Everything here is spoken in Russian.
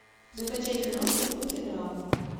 закачай киношку в духе драмы